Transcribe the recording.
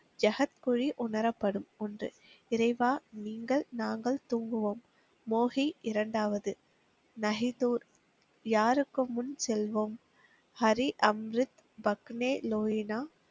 யஹத் புலி உணரப்படும் ஒன்று இறைவா நீங்கள் நாங்கள் தூங்குவோம். மோஹி இரண்டாவது நகி தூர் யாருக்கும் முன் செல்வோம் ஹரி அம்ரித் பக்னே லோஹினா,